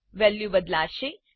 value બદલાશે